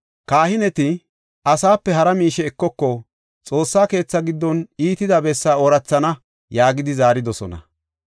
Kahineti, “Asaape hara miishe ekoko; Xoossa keetha giddon iitida bessaa oorathana” yaagidi zaaridosona.